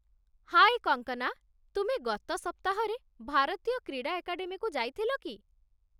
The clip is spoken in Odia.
ହାଏ କଙ୍କନା, ତୁମେ ଗତ ସପ୍ତାହରେ ଭାରତୀୟ କ୍ରୀଡ଼ା ଏକାଡେମୀକୁ ଯାଇଥିଲ କି?